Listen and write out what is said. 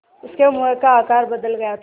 उसके मुँह का आकार बदल गया था